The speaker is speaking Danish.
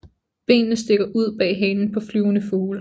Benene stikker ud bag halen på flyvende fugle